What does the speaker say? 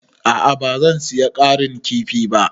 A'a ba zan saya ƙarin kifi ba.